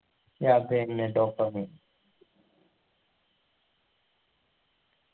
yah അതെന്നെ dopamine